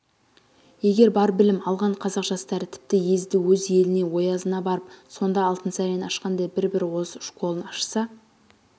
егер бар білім алған қазақ жастары тіпті езді-өз еліне оязына барып сонда алтынсарин ашқандай бір-бір орыс школын ашса